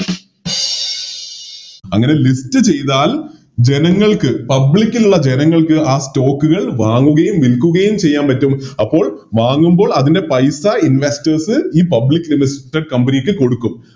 അങ്ങനെ List ചെയ്താൽ ജനങ്ങൾക്ക് Public ലുള്ള ജനങ്ങൾക്ക് ആ Stock കൾ വാങ്ങുകയും വിൽക്കുകയും ചെയ്യാൻ പറ്റും അപ്പോൾ വാങ്ങുമ്പോൾ അതിൻറെ പൈസ Investors ഈ Public listed company ക്ക് കൊടുക്കും